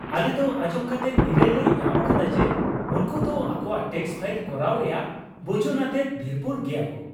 ᱟᱞᱮ ᱫᱚ ᱟᱧᱡᱚᱢ ᱠᱟᱛᱮ ᱱᱤᱨᱟᱹᱭ ᱞᱮ ᱧᱟᱢ ᱟᱠᱟᱫᱟ ᱡᱮ ᱩᱱᱠᱩ ᱫᱚ ᱟᱠᱚᱣᱟᱜ ᱴᱮᱹᱠᱥ ᱯᱷᱟᱭᱤᱞ ᱠᱚᱨᱟᱣ ᱨᱮᱭᱟᱜ ᱵᱩᱡᱩᱱ ᱟᱛᱮᱫ ᱫᱷᱤᱨᱯᱩᱨ ᱜᱮᱭᱟᱠᱚ ᱾